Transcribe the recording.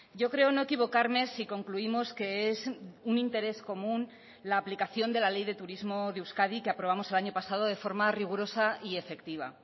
yo creo no equivocarme si concluimos que es un interés común la aplicación de la ley de turismo de euskadi que aprobamos el año pasado de forma rigurosa y efectiva